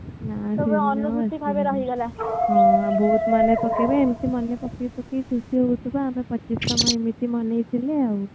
ଘରେ ରହିଗଲା ବହୁତ ମନେ ପକେଇବା ଏମିତି ମନେ ପକେଇ ପକେଇ ଖୁସି ହଉଥିବା ଆମେ ପଚିଶ ତମ ଏମିତି ବନେଇଥିଲେ ଆଉ